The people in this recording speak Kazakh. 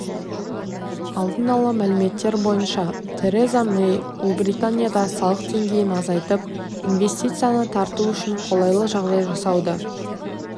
алдын ала мәліметтер бойынша тереза мэй ұлыбританияда салық деңгейін азайтып инвестицияны тарту үшін қолайлы жағдай жасауды